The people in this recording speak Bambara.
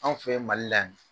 Anw fɛ mali la yan